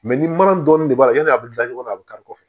ni mana dɔɔni b'a la yani a bɛ da ɲɔgɔn na a bɛ kari kɔfɛ